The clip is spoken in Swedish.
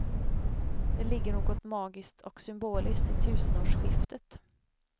Det ligger något magiskt och symboliskt i tusenårsskiftet.